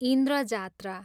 Indra Jatra